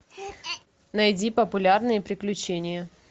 найди популярные приключения